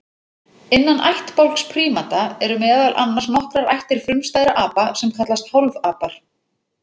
Innan ættbálks prímata eru meðal annars nokkrar ættir frumstæðra apa sem kallast hálfapar.